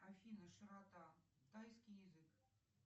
афина широта тайский язык